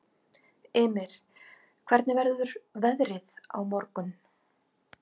Ymir, hvernig verður veðrið á morgun?